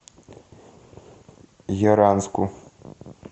яранску